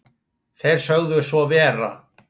Þeir sögðu svo vera